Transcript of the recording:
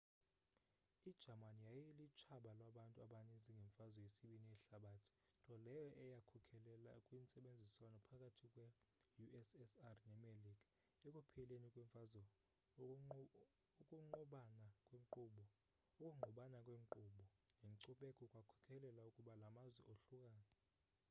ijamani yayilutshaba lwabantu abaninzi ngemfazwe yesibini yehlabathi nto leyo eyakhokelela kwintsebenziswano phakathi kwe-ussr nemelika ekupheleni kwemfazwe ukungqubana kwenkqubo nenkcubeko kwakhokelela ukuba la mazwe ohlukane